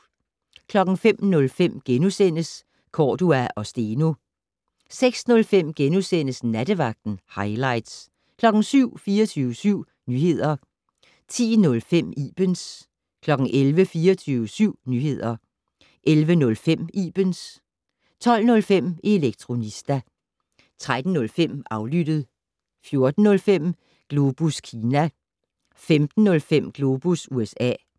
05:05: Cordua & Steno * 06:05: Nattevagten - hightlights * 07:00: 24syv Nyheder 10:05: Ibens 11:00: 24syv Nyheder 11:05: Ibens 12:05: Elektronista 13:05: Aflyttet 14:05: Globus Kina 15:05: Globus USA